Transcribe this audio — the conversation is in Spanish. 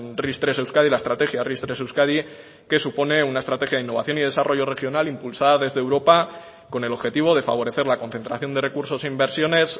ris tres euskadi la estrategia ris tres euskadi que supone una estrategia de innovación y desarrollo regional impulsada desde europa con el objetivo de favorecer la concentración de recursos e inversiones